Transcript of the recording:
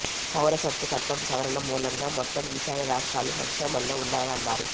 పౌరసత్వ చట్టం సవరణ మూలంగా మొత్తం ఈశాన్య రాష్ట్రాలు సంక్షోభంలో ఉన్నాయని అన్నారు